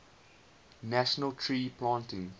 national tree planting